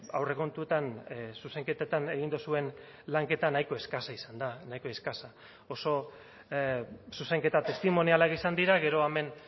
aurrekontuetan zuzenketetan egin duzuen lanketa nahiko eskasa izan da nahiko eskasa oso zuzenketa testimonialak izan dira gero hemen